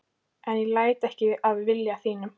En ég læt ekki að vilja þínum.